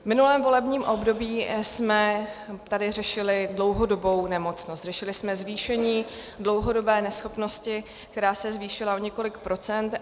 V minulém volebním období jsme tady řešili dlouhodobou nemocnost, řešili jsme zvýšení dlouhodobé neschopnosti, která se zvýšila o několik procent.